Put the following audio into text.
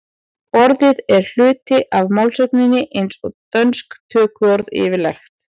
orðið er hluti af málsögunni eins og dönsk tökuorð yfirleitt